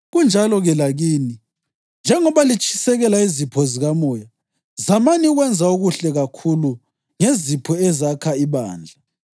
Kunjalo-ke lakini. Njengoba litshisekela izipho zikamoya, zamani ukwenza okuhle kakhulu ngezipho ezakha ibandla.